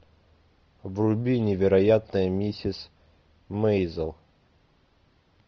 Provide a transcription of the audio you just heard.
вруби невероятная миссис мэйзел